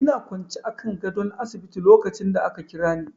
Ina kwance akan gadon asibiti lokacin da ka Kirani.